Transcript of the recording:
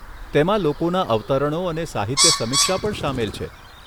તેમાં લોકોના અવતરણો અને સાહિત્ય સમીક્ષા પણ સામેલ છે.